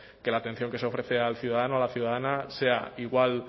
que la atención que se ofrece al ciudadano a la ciudadana sea igual